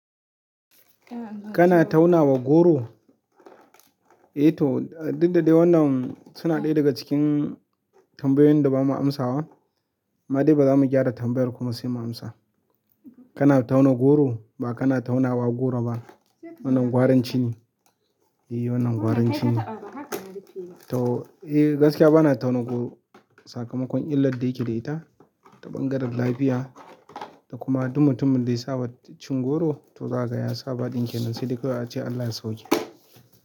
Kana tauna wa goro? Eh to, duk dadai wannan suna ɗaya daga cikin tambayoyin da ba ma amsawa. Amma dai bara mu gyara tambayar kuma sai mu amsa. Kana tauna goro ba kana tauna wa goro ba. Wannan gwarancin ne. Eh wannan gwarancin ne. To eh gaskiya ba na tauna goro. Sakamakon illar da yake da ita ta ɓangaren lafiya da kuma duk mutumin ɗaya saba cin goro, to zakaga ya saba ɗin kenan sai dai kawai ace Allah ya sauwake.